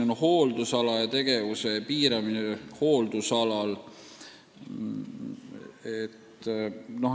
On hooldusalal tegevuse piiramine.